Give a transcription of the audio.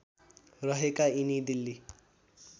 रहेका यिनी दिल्ली